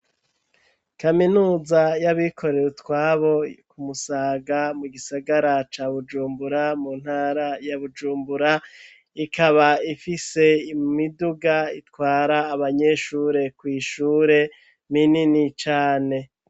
Kaminuza yabikorere utwabo ku Musaga mu gisagara ca Bujumbura mu ntara ya Bujumbura ikaba ifise imiduga itwara abanyeshure kw'ishure minini cane.